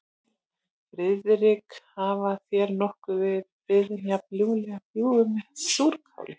Friðrik, hafa þér nokkurn tíma verið boðin jafn ljúffeng bjúgu með súrkáli?